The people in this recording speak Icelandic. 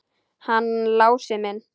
Hann Lási minn!